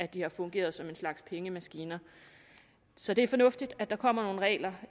de har fungeret som en slags pengemaskiner så det er fornuftigt at der kommer nogle regler